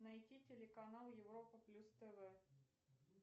найти телеканал европа плюс тв